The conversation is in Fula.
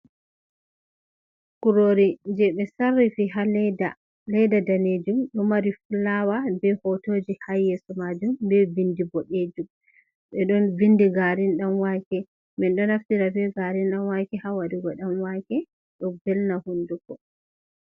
Kurori je ɓe sarrifi ha ledda danejum, ɗoo o mari fulawa be hotojii ha yeso majum, ɓe windi bo dejum ɓe don windi garin dan wake, min ɗoo o naftira be garin dan wake ha waɗugo dan wake. Ɗon belna hunduko.